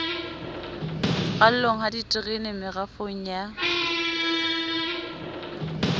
ralweng ha diterene merafong ya